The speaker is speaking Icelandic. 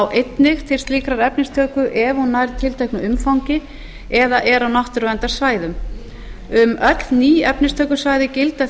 einnig til slíkrar efnistöku ef hún nær tilteknu umfangi eða er á náttúruverndarsvæðum um öll ný efnistökusvæði gilda